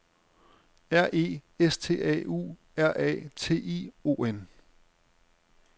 R E S T A U R A T I O N